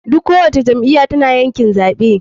Duk ko wace jam iyya tana yakin zaɓe.